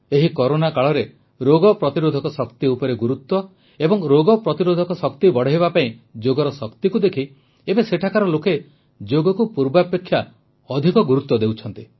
ଏହି କରୋନା କାଳରେ ରୋଗ ପ୍ରତିରୋଧକ ଶକ୍ତି ଉପରେ ଗୁରୁତ୍ୱ ଓ ରୋଗ ପ୍ରତିରୋଧକ ଶକ୍ତି ବଢ଼ାଇବା ପାଇଁ ଯୋଗର ଶକ୍ତିକୁ ଦେଖି ଏବେ ସେଠାକାର ଲୋକେ ଯୋଗକୁ ପୂର୍ବାପେକ୍ଷା ଅଧିକ ଗୁରୁତ୍ୱ ଦେଉଛନ୍ତି